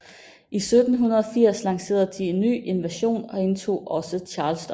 I 1780 lancerede de en ny invasion og indtog også Charleston